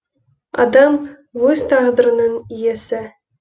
адам өз тағдырының иесі